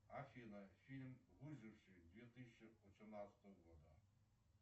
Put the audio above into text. афина фильм выживший две тысячи восемнадцатого года